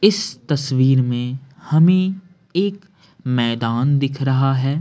इस तस्वीर में हमें एक मैदान दिख रहा है।